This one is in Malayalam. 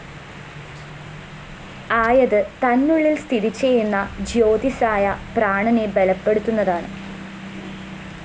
ആയത് തന്നുള്ളില്‍ സ്ഥിതിചെയ്യുന്ന ജ്യോതിസ്സായ പ്രാണനെ ബലപ്പെടുത്തുന്നതാണ്